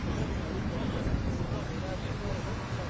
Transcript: Hər şey var yəni rahat hərəkət üçün, hər şeyi var.